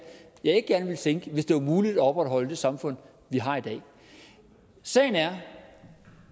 jeg ikke gerne ville sænke hvis det var muligt alligevel at opretholde det samfund vi har i dag sagen er